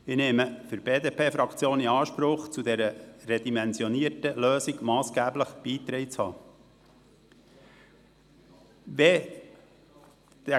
Ich nehme für die BDP-Fraktion in Anspruch, zu dieser redimensionierten Lösung massgeblich beigetragen zu haben.